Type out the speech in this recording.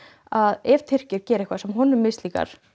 að ef Tyrkir geri eitthvað sem sem honum mislíkar